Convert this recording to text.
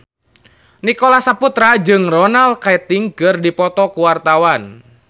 Nicholas Saputra jeung Ronan Keating keur dipoto ku wartawan